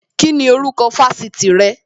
Kíni orúkọ Fásitì rẹ?